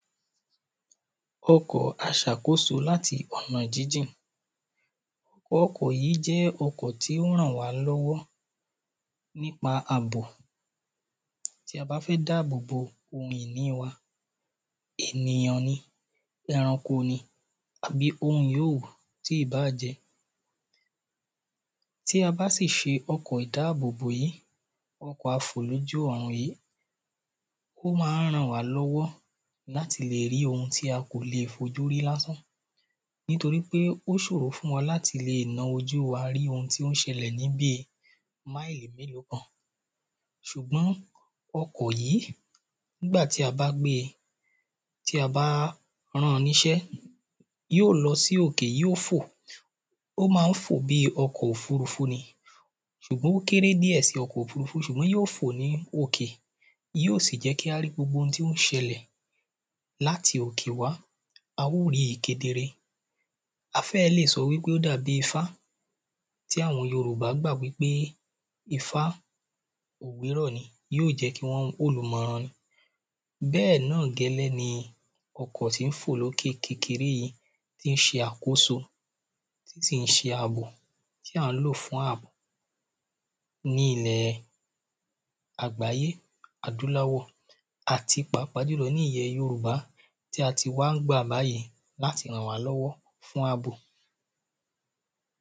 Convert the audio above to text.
ọkọ̀ aṣàkóso láti ọ̀nà jínjìn, ọkọ̀ yí jẹ́ ọkọ̀ tí ó n ràn wá lọ́wọ́ nípa àbò, tí a bá fẹ́ dábòbo oun ìní wa, ènìyàn ni, ẹranko ni, àbí oun yíì òwù tíì báàjẹ́, tí a bá sì se ọkọ̀ ìdáàbòbò yí, ọkọ̀ a fò lójú ọ̀run yíì, ó má n ràn wá lọ́wọ́ láti lè rí owun tí a kò le fojú rí lásán, nítorí pé ó sòro fún wa láti lè na ojú wa rí oun tí ó n sẹlẹ̀ níbi mili mélòó kan, sùgbọ́n ọkọ̀ yí nígbà tí a bá gbe, tí a bá ran ní sẹ́, yó lọ sí òkè, yó fò, ó má n fò bí ọkọ̀ òfurufú ni, sùgbọ́n ó kéré ní ẹsẹ́ ọkọ̀ òfurufú sùgbọ́n yó fò ní òkè, yó sì jẹ́ kí á rí gbogbo oun tí ó n sẹlẹ̀ láti òkè wá, a ó ríi kedere, a fẹ́ lè sọ wípé ó dàbí ifá, tí àwọn Yorùbá gbà wípé ifá ògbérọ̀ ni, yóò jẹ́ kí wọ́n, olùmọ̀ràn ni, bẹ́ẹ̀ náà gẹ́lẹ́ ni ọkọ̀ tí n fò lókè kékeré yìí, tí n se àkóso, tí sǐn se àbò, tí ǎ n lò fún àbò ní ilẹ̀ àgbáyé adúláwọ̀, àti páàpáà jùlọ ní ilẹ̀ Yorùbá tí a ti wá n gbà láyè láti ràn wá lọ́wọ́ fún àbò